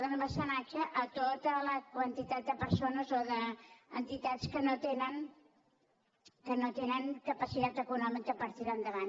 donar mecenatge a tota la quantitat de persones o d’entitats que no tenen capacitat econòmica per tirar endavant